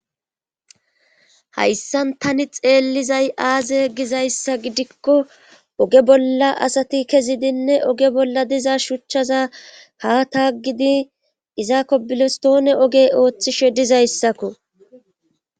Hayssan tani xeellizay aaze gizayssa gidikko oge bolla asati kezidinne oge bolla diza shuchchaza ha taaggidi izaakko bilostoone oge ooththishe dizayssakko.